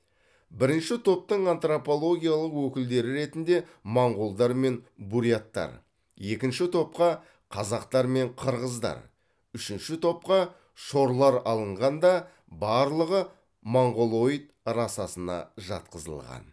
бірінші топтың антропологиялық өкілдері ретінде моңғолдар мен буряттар екінші топқа қазақтар мен қырғыздар үшінші топқа шорлар алынған да барлығы монғолоид расасына жатқызылған